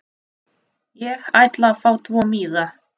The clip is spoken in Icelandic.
Ég ætla að fá tvo miða.